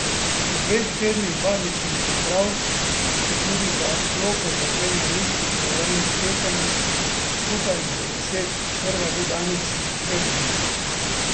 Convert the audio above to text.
Po dveh tednih bazičnih priprav se tudi za Loko začenja niz pripravljalnih tekem, skupaj jih bo deset, prva že danes v Trebnjem.